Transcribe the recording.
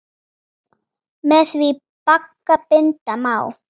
Með því bagga binda má.